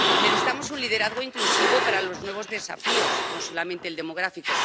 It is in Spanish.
Necesitamos un liderazgo inclusivo para los nuevos desafíos, no solamente el demográfico.